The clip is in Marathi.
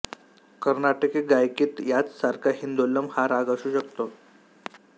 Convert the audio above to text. कर्नाटकी गायकीत याच सारखा हिंदोलम हा राग असू शकतो